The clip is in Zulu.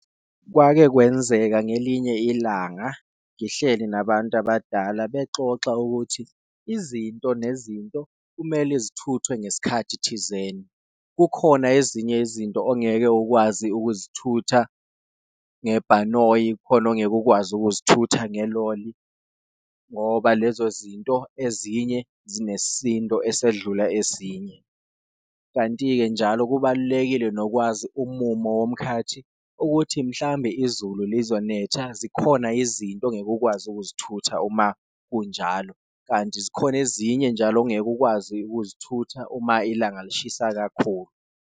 Kwake kwenzeka ngelinye ilanga ngihleli nabantu abadala bexoxa ukuthi izinto nezinto kumele zithuthwe ngesikhathi thizeni, kukhona ezinye izinto ongeke ukwazi ukuzithutha ngebhanoyi, khona ongeke ukwazi ukuzithutha ngeloli ngoba lezo zinto ezinye sinesisindo esedlula ezinye. Kanti-ke njalo kubalulekile nokwazi umumo womkhathi ukuthi mhlambe izulu lizonetha, zikhona izinto ongeke ukwazi ukuzithutha uma kunjalo, kanti zikhona ezinye njalo ongeke ukwazi ukuzithuthukisa uma ilanga lishisa kakhulu.